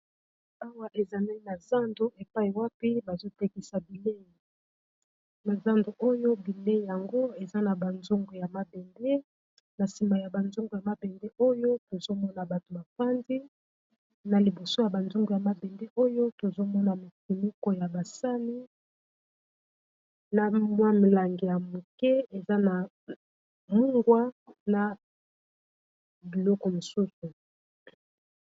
awa ezali na zando epai wapi bazo tekisa bilei na zando oyo bilei yango eza na ba zungu ya mabende na nsima ya banzungu ya mabende oyo tozomona bato fandi na liboso ya banzungu ya mabende oyo tozomona mofinuko ya basani na mwa milangi ya moke eza na mungwa na biloko mosusu